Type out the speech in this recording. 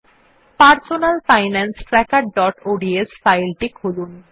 personal finance trackerঅডস file টি খুলুন